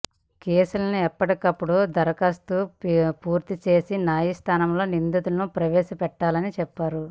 కేసులను ఎప్పటికప్పుడు దర్యాప్తు పూర్తి చేసి న్యాయస్థానంలో నిందితులను ప్రవేశ పెట్టాలని చెప్పారు